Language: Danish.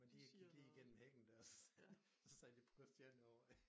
Men de gik lige gennem hækken dér og så sad så sad de på Christiania og røg